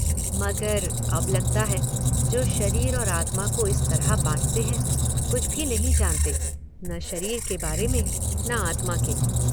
मगर अब लगता है, जो शरीर और आत्मा को इस तरह बांटते हैं, कुछ भी नहीं जानते, न शरीर के बारे में, न आत्मा के।